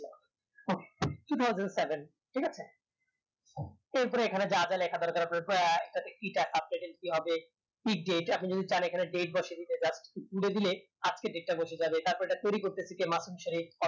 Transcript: আহ কি ভাবে ঠিক আছে এর পর এখানে যা যা লেখার দরকার হবে বা ইটা fast second কি হবে date বসিয়ে দিতে চান পুড়েদিলে আজকের date টা বসে যাবে গেলে কি হবে তারপর এটা কুড়ি বছরের মাসুম ছেলে